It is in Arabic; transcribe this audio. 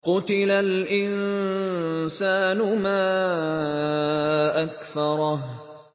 قُتِلَ الْإِنسَانُ مَا أَكْفَرَهُ